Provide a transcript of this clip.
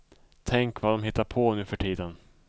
Tänk vad dom hittar på nu för tiden.